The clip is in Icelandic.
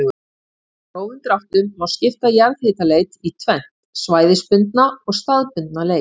Í grófum dráttum má skipta jarðhitaleit í tvennt, svæðisbundna og staðbundna leit.